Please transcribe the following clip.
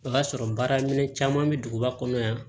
O y'a sɔrɔ baara minɛn caman bɛ duguba kɔnɔ yan